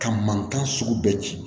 Ka mankan sugu bɛɛ ci